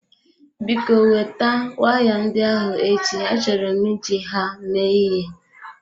Biko weta waya ndị ahụ echi, achọrọ m iji ha mee ịhe.